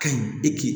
Ka ɲi e k'i